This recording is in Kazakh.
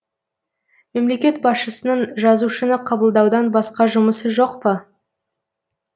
мемлекет басшысының жазушыны қабылдаудан басқа жұмысы жоқ па